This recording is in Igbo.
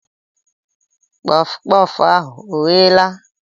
Kpọf kpọf ahụ ọ gheela?